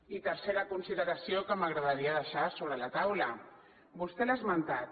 i tercera consideració que m’agradaria deixar sobre la taula vostè l’ha esmentat